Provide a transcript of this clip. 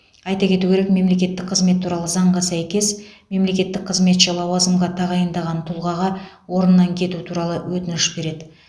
айта кету керек мемлекеттік қызмет туралы заңға сәйкес мемлекеттік қызметші лауазымға тағайындаған тұлғаға орнынан кету туралы өтініш береді